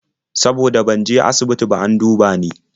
Saboda ban je asibiti ba an duba ni.